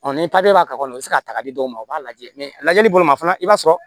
ni papiye b'a kɔnɔ i bɛ se k'a ta k'a di mɔgɔw ma u b'a lajɛ lajɛli bolo ma fana i b'a sɔrɔ